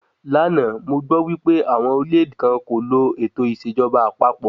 Lánàá, mo gbọ́ wípé àwọn orílẹ̀-èdè kan kò lo ètò ìṣèjọba àpapọ̀